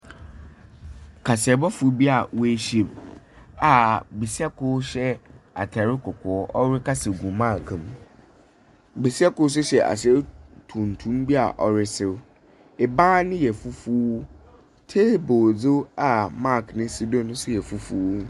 Kaseɛbɔfo bi a woehyia mu a besia kor hyɛ atar kɔkɔɔ, ɔrekasa gu mic mu. Besia kor nso hyɛ atar tuntum bi a ɔreserew. Ban no yɛ fufuw. Table nso a mic no si do no nso yɛ fufuw.